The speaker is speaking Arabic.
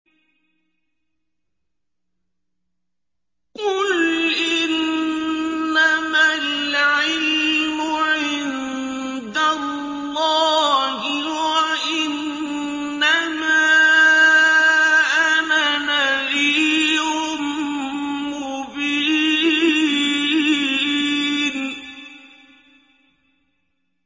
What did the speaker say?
قُلْ إِنَّمَا الْعِلْمُ عِندَ اللَّهِ وَإِنَّمَا أَنَا نَذِيرٌ مُّبِينٌ